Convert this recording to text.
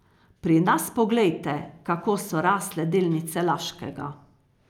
Pri nas poglejte, kako so rasle delnice Laškega.